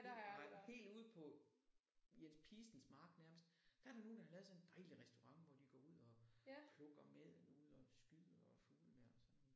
Nej helt ude på Jens Pistens mark nærmest der er der nogen der har lavet sådan en dejlig restaurant hvor de går ud og plukker maden ude og skyder fuglene og sådan noget